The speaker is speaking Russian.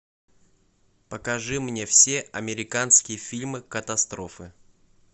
покажи мне все американские фильмы катастрофы